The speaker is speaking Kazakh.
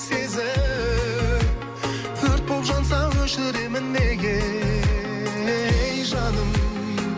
сезім өрт боп жанса өшіремін неге ей жаным